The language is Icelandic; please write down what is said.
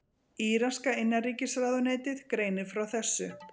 Íraska innanríkisráðuneytið greinir frá þessu